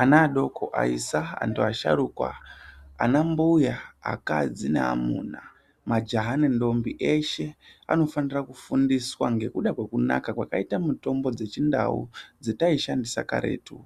Ana adoko, aisa, antu asharukwa, anambuya, akadzi, neamuna, majaha nendombi eshe anofanire kufundiswa manakire akaite mitombo dzeChiNdau dzataishandisa karetu